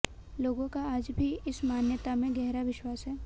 लोगों का आज भी इस मान्यता में गहरा विश्वास है